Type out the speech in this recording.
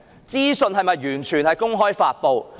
資訊是否完全公開發布？